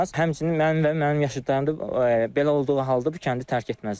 Həmçinin mən və mənim yaşıdlarım da belə olduğu halda bu kəndi tərk etməzlər.